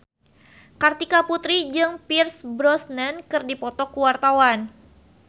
Kartika Putri jeung Pierce Brosnan keur dipoto ku wartawan